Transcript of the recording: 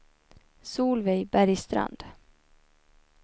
Solveig Bergstrand